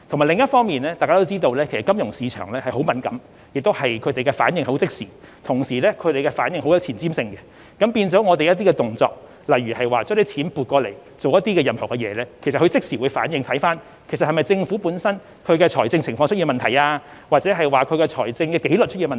另一方面，一如大家所知，金融市場十分敏感，反應亦非常即時及具有前瞻性，政府的些微動作如調撥資金作某些用途，均可能導致市場作出即時反應，以為政府本身的財政情況或財政紀律出現問題。